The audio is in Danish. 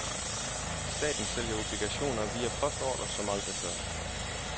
Staten sælger obligationer via postordre som aldrig før.